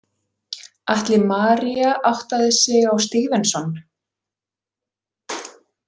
Ætli María áttaði sig á STEVENSON?